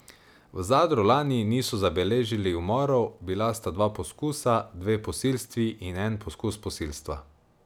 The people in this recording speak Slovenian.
V Zadru lani niso zabeležili umorov, bila sta dva poskusa, dve posilstvi in en poskus posilstva.